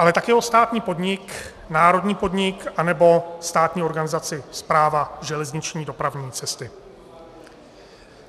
... ale také o státní podnik, národní podnik anebo státní organizaci Správa železniční dopravní cesty.